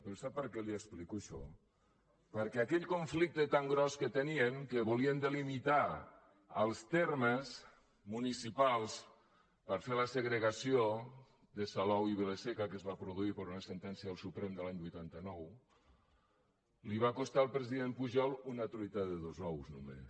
però sap per què li ho explico això perquè aquell conflicte tan gros que tenien que volien delimitar els termes municipals per fer la segregació de salou i vila seca que es va produir per una sentència del suprem de l’any vuitanta nou li va costar al president pujol una truita de dos ous només